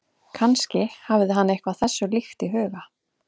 Kannski hafði hann eitthvað þessu líkt í huga.